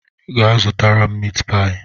Gaa zụtara m miit paayi!